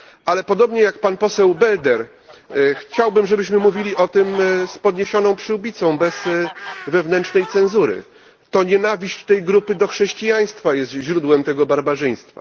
Ale podobnie jak pan poseł Belder chciałbym, żebyśmy mówili o tym z podniesioną przyłbicą, bez wewnętrznej cenzury to nienawiść tej grupy do chrześcijaństwa jest źródłem tego barbarzyństwa.